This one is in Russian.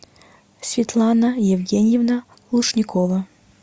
светлана евгеньевна лушникова